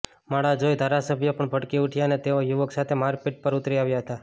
માળા જોઈ ધારાસભ્ય પણ ભડકી ઉઠ્યા અને તેઓ યુવક સાથે મારપીટ પર ઉતરી આવ્યા હતા